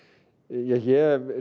ég hef